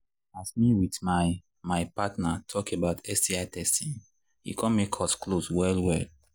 as me with my my partner talk about sti testing e come make us close well well